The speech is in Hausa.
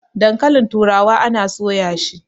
dankalin turawa ana soya shi!